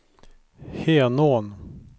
Henån